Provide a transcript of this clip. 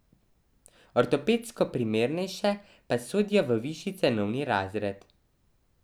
Ortopedsko primernejše pa sodijo v višji cenovni razred.